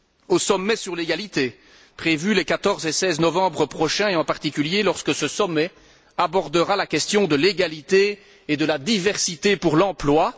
au sommet sur l'égalité, prévu les 14 et 16 novembre prochain, et en particulier lorsque ce sommet abordera la question de l'égalité et de la diversité pour l'emploi